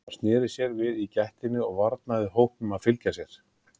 Hann sneri sér við í gættinni og varnaði hópnum að fylgja sér.